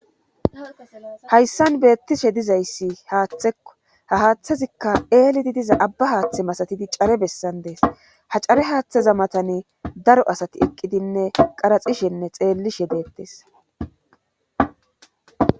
Hayssan beettishe dizayssi haaththekko ha haaththazikka eelidi diza abba haaththe masatidi care bessan dees ha care haaththeza matani daro asati eqqidinne qaraxishenne xeellishe deettes.